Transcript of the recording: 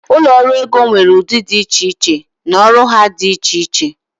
ụlọ ọrụ ego nwere ụdị dị iche iche na ọrụ ha dị iche iche